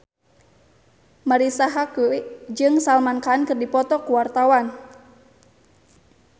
Marisa Haque jeung Salman Khan keur dipoto ku wartawan